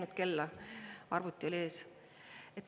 Ma ei näinud kella, arvuti oli ees.